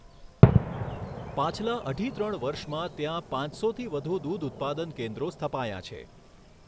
પાછલા અઢી ત્રણ વર્ષમાં ત્યાં પાંચસોથી વધુ દૂધઉત્પાદન કેન્દ્રો સ્થપાયાં છે.